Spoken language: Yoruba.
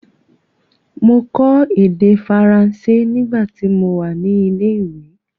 Mọ kọ èdè Faranse nígbà ti mo wà ní ilé ìwé.